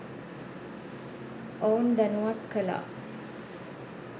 ඔවුන් දැනුවත් කළා.